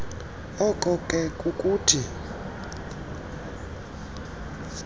oko ke kukuthi